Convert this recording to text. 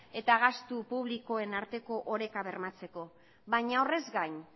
eta gastu publikoen arteko oreka bermatzeko baina horrez gain